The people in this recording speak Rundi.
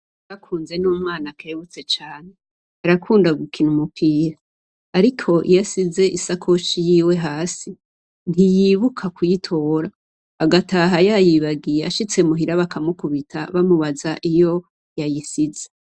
Icakunze n’umwana akerebutse cane, arakunda gukina umupira, ariko iyo asize isakoshi yiwe hasi ntiyibuka kuyitora agataha yayibagiye ashitse muhira bakamukubita bamubaza iyo yayisize.